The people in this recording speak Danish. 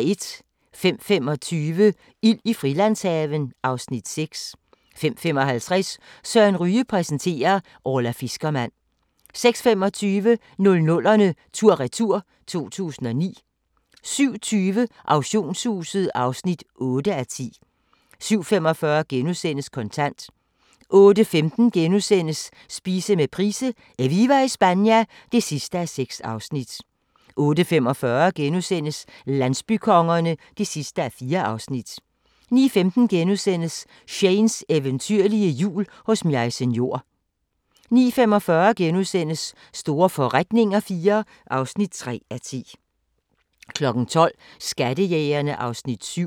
05:25: Ild i Frilandshaven (Afs. 6) 05:55: Søren Ryge præsenterer: Orla fiskermand 06:25: 00'erne tur-retur: 2009 07:20: Auktionshuset (8:10) 07:45: Kontant * 08:15: Spise med Price: "Eviva Espana" (6:6)* 08:45: Landsbykongerne (4:4)* 09:15: Shanes eventyrlige jul hos Maise Njor * 09:45: Store forretninger IV (3:10)* 12:00: Skattejægerne (Afs. 7)